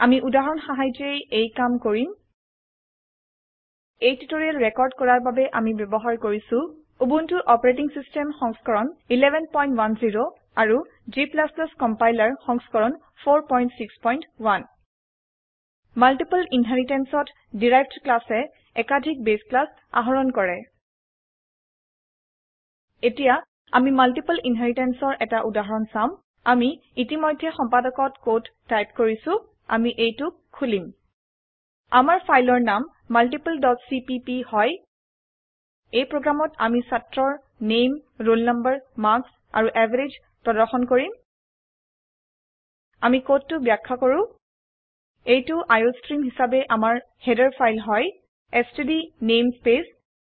আমি উদাহৰণ সাহায্যে এই কাম কৰিম এই টিউটোৰিয়েল ৰেকৰ্ড কৰাৰ বাবে আমি ব্যবহাৰ কৰিছো উবুনটো অচ সংস্কৰণ 1110 আৰু g কম্পাইলাৰ সংস্কৰণ 461 মাল্টিপল inheritanceত ডেৰাইভড ক্লাছ এ একাধিক বাছে ক্লাছ আহৰণ কৰে এতিয়া আমি মাল্টিপল inheritanceৰ এটা উদাহৰণ চাম আমি ইতিমধ্যে সম্পাদকত কোড টাইপ কৰিছো আমি এইটোক খুলিম আমাৰ ফাইলৰ নাম multipleচিপিপি হয় এই প্ৰোগ্ৰামত আমি ছাত্ৰৰ নামে ৰোল ন মাৰ্কছ আৰু এভাৰেজ প্ৰদৰ্শন কৰিম আমি কোডটো ব্যাখ্যা কৰো এইটো আইঅষ্ট্ৰিম হিসাবে আমাৰ হেদাৰ ফাইল হয় এছটিডি নেমস্পেচ